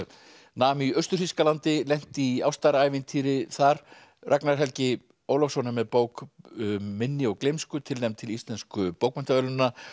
nam í Austur Þýskalandi lenti í ástarævintýri þar Ragnar Helgi Ólafsson er með bók um minni og gleymsku tilnefnd til Íslensku bókmenntaverðlaunanna